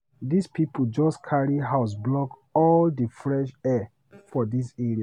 Dis pipo jus carry house block all di fresh air for dis area.